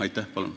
Aitäh!